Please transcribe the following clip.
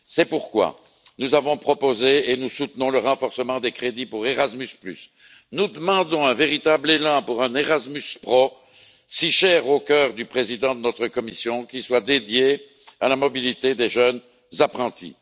C'est pourquoi nous avons proposé et nous soutenons le renforcement des crédits pour Erasmus et nous demandons un véritable élan pour un Erasmus Pro si cher au cœur du président de notre Commission, qui soit dédié à la mobilité des jeunes apprentis.